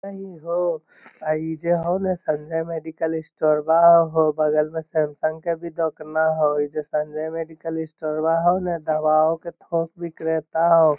अ इ हो आ इ जे हउ ना संजय मेडिकल स्टोरवा हउ बगल मे सैमसंग के भी दोकना हउ | अ इ जे हउ ना संजय मेडिकल स्टोरवा हउ न दावा के थोक विक्रेता हउ |